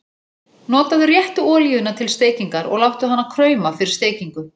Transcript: Notaðu réttu olíuna til steikingar og láttu hana krauma fyrir steikingu.